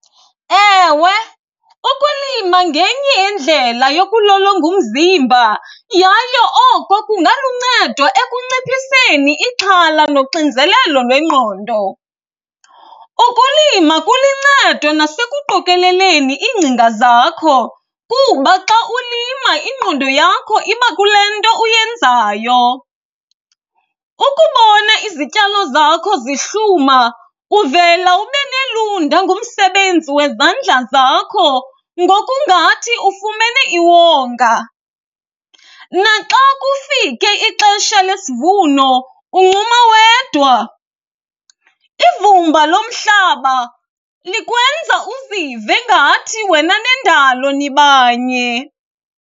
Ewe, ukulima ngenye yendlela yokulolonga umzimba yaye oko kungaluncedo ekunciphiseni ixhala noxinzelelo lwengqondo. Ukulima kuluncedo nasekuqokeleleni iingcinga zakho kuba xa ulima ingqondo yakho iba kule nto uyenzayo. Ukubona izityalo zakho zihluma uvela ube nelunda ngumsebenzi wezandla zakho ngokungathi ufumene iwonga, naxa kufike ixesha lesivuno uncuma wedwa. Ivumba lomhlaba likwenzela uzive ngathi wena nendalo nibanye.